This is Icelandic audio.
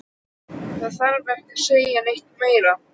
Það þarf ekki að segja neitt meira.